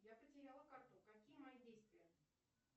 я потеряла карту какие мои действия